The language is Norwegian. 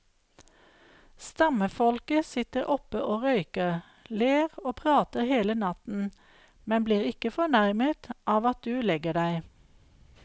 Stammefolket sitter oppe og røyker, ler og prater hele natten, men blir ikke fornærmet av at du legger deg.